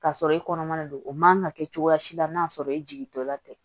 K'a sɔrɔ i kɔnɔman don o man ka kɛ cogoya si la n'a sɔrɔ i jigintɔla tɛ